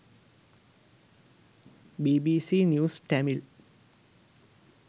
bbc news tamil